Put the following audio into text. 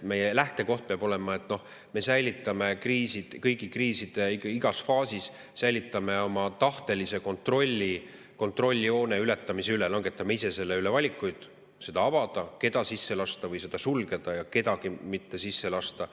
Meie lähtekoht peab olema, et me säilitame kõigi kriiside igas faasis oma tahtelise kontrolli kontrolljoone ületamise üle, langetame ise valikuid, kas seda avada, kedagi sisse lasta või piir sulgeda ja kedagi mitte sisse lasta.